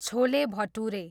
chole bhature